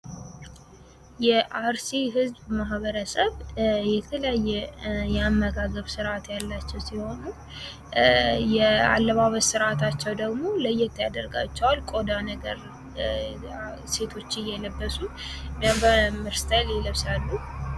የአርሲ ህዝብ ማህበረሰብ የተለያየ የአመጋገብ ስርዐት ያላቸው ሲሆን የአለባበስ ስርዐታቸው ደግሞ ለየት ያደርጋቸዋል። ቆዳ ነገር ሴቶች እየለበሱ ስታይል ይለብሳሉ።